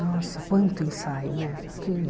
Nossa, quanto ensaio, né?